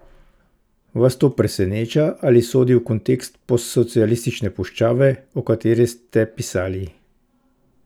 Vas to preseneča ali sodi v kontekst postsocialistične puščave, o kateri ste pisali?